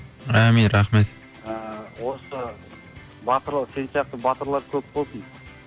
амин рахмет ыыы осы батыр сен сияқты батырлар көп болсын